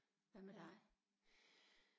Hvad med dig